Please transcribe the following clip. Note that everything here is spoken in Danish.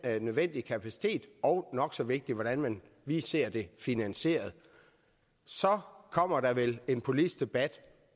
nødvendige kapacitet og nok så vigtigt hvordan man lige ser det finansieret så kommer der vel en politisk debat